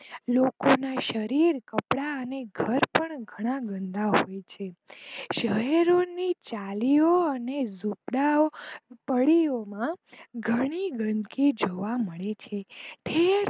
લોકો ના શરીર કપડાં અને ઘર પણ ઘણા ગંદા હોય છે શહેરો ની ચાલીઓ અને ઝૂંપડીઓ માં ઘણી ગંદકી જોવા મળે છે.